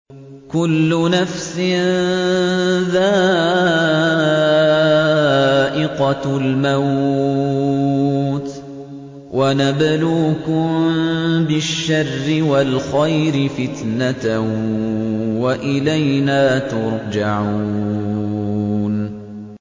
كُلُّ نَفْسٍ ذَائِقَةُ الْمَوْتِ ۗ وَنَبْلُوكُم بِالشَّرِّ وَالْخَيْرِ فِتْنَةً ۖ وَإِلَيْنَا تُرْجَعُونَ